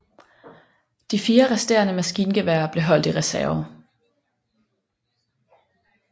De fire resterende maskingeværer blev holdt i reserve